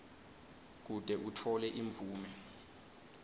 kute utfole imvume